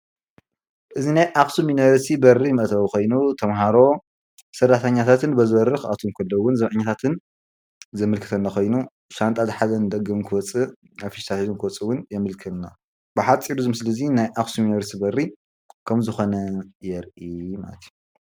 እዚ ናይ ኣክሱም ዩኒቨርስቲ በሪ መእተዊ ኮይኑ ተማሃሮ ሰራሕተኛታትን በዚ በሪ ክኣትዉ ከለዉ ዘብዓኛታትን ዘመልክተና ኮይኑ ሻንጣ ዝሓዘ ንደገ ዝወፅእ ኣብ ፌስታል ክወፅኡን ብሓፂር እዚ ምስሊ እዚ ናይ ኣክሱም ዩኒቨርስቲ በሪ ከምዝኮነ የርኢ ማለት እዩ።